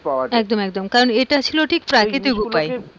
একদম একদম কারণ এটা ছিল ঠিক প্রাকৃতিক উপায়।